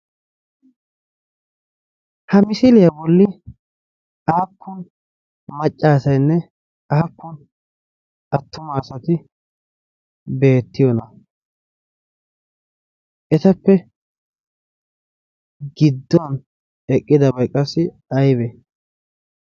Ha misiliya Bolli aappun macca asayinne aappun attuma asati beettiyona? Etappe gidduwan eqqidabay qassi ayibe?